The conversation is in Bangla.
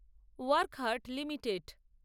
ওয়াকহার্ট লিমিটেড